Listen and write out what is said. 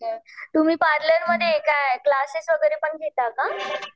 तुम्ही पार्लरमध्ये काय क्लासेस वगैरे पण घेता का?